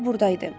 Mür burdaydı.